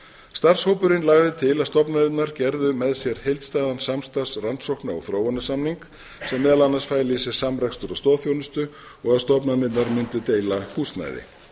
starfshópurinn lagði til að stofnanirnar gerðu með sér heildstæðan samstarfs rannsókna og þróunarsamning sem meðal annars fæli í sér samrekstur á stoðþjónustu og að stofnanirnar mundu deila húsnæði